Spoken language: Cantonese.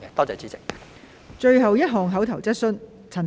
最後一項口頭質詢。